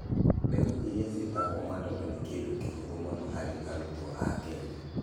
Mbegũ iria ciĩtagwo madondo nĩ kĩndũ kĩhũthũ mũno harĩ arutwo a Kenya.